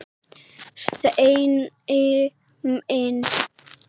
Steini minn.